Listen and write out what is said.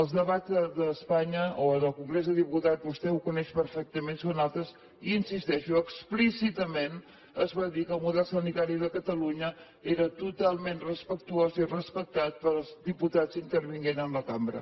els debats d’espanya o en el congrés de diputats vostè ho coneix perfectament són altres i hi insisteixo explícitament es va dir que el model sanitari de catalunya era totalment respectuós i respectat pels diputats intervenint en la cambra